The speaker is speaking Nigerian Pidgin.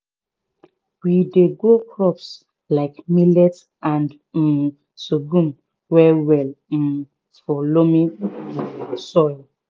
we dey grow crops like millet and um sorghum well well um for loamy um soil